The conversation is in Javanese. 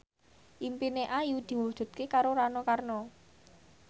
impine Ayu diwujudke karo Rano Karno